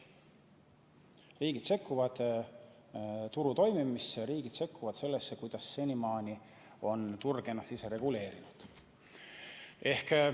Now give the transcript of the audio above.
Riigid sekkuvad turu toimimisse, riigid sekkuvad sellesse, kuidas senimaani on turg ennast ise reguleerinud.